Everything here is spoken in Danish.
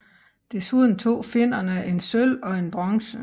Desuden tog finnerne én sølv og én bronze